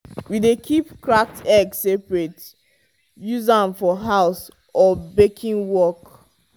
we dey keep cracked egg separate use am for house or for baking work.